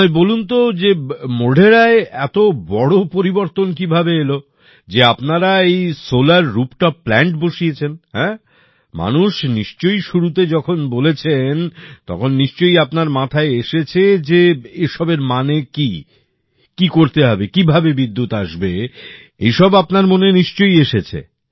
আমায় বলুন তো মোঢেরায় এত বড় পরিবর্তন কিভাবে এলো যে আপনারা এই সোলার রুফটপ প্ল্যান্ট বসিয়েছেন মানুষ নিশ্চয়ই শুরুতে যখন বলেছেন তখন নিশ্চয়ই আপনার মাথায় এসেছে যে এসবের মানে কী কী করতে হবে কিভাবে বিদ্যুৎ আসবে এইসব আপনার মনে নিশ্চয়ই এসেছে